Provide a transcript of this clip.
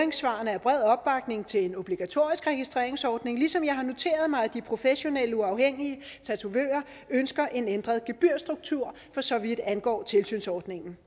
er bred opbakning til en obligatorisk registreringsordning ligesom jeg har noteret mig at de professionelle uafhængige tatovører ønsker en ændret gebyrstruktur for så vidt angår tilsynsordningen